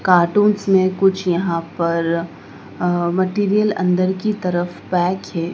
Cartoons में कुछ यहां पर अ मटेरियल अंदर की तरफ पैक है।